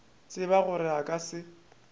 tseba gore a ka se